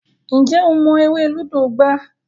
Njé o mo èrè ludo gbà?